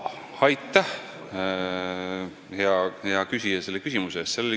Aitäh, hea küsija, selle küsimuse eest!